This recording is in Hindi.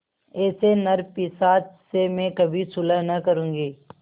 ऐसे नरपिशाच से मैं कभी सुलह न करुँगी